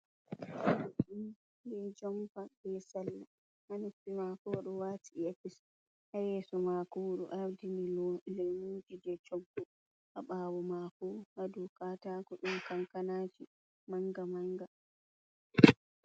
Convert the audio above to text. Jomba be sarla, ha noppi mako oɗoo wati eyafis, ha yeso mako oɗoo ardini lemuji je choggu. Ha bawo maku wodi kataku ɗon kankanaji manga manga.